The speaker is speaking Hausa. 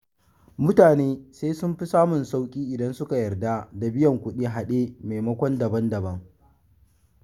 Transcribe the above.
Mutane sai sun fi samun sauƙi idan suka yarda da biyan kuɗin a haɗe maimakon daban-daban.